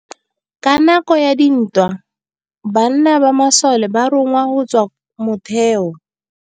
Ka nakô ya dintwa banna ba masole ba rongwa go tswa kwa mothêô.